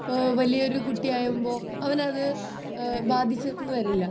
ഏഹ്ഹ് വലിയൊരു കുട്ടി ആവുമ്പൊ അവനത് ബാധിച്ചെന്ന് വരില്ല